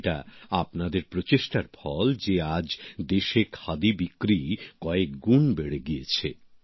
এটা আপনাদের প্রচেষ্টারই ফল যে আজ দেশে খাদির বিক্রি কয়েক গুণ বেড়ে গিয়েছে